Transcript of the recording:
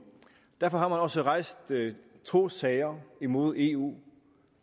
derfor har man også rejst to sager imod eu